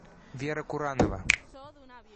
вера куранова